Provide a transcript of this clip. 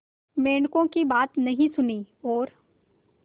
मेंढकों की बात नहीं सुनी और